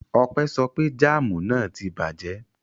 Ọpẹ́ sọ pé jáámù náà tí bàjẹ́.